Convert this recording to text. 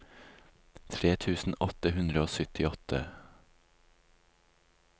tre tusen åtte hundre og syttiåtte